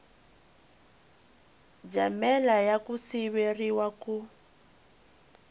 jamela ya ku siveriwa ku